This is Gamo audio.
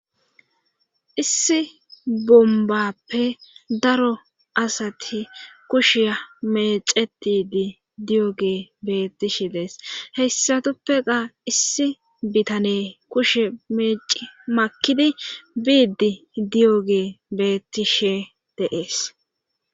issi bombappe daro asati kushiya mecetidi diyo ge beettishe dees heyssatuppeqa issi bitane kushe meeci makidi biidi diyo gee bettishe deees